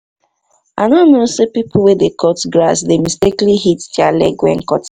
i no know say people wey dey cut grass dey mistakenly hit their leg when cutting